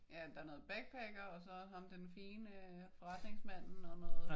Ja der er noget backpacker og så ham den fine forretningsmanden og noget